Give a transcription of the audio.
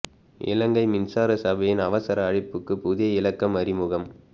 இலங்கை மின்சார சபையின் அவசர அழைப்புக்கு புதிய இலக்கம் அறிமுகம்